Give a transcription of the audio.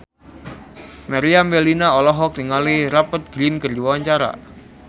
Meriam Bellina olohok ningali Rupert Grin keur diwawancara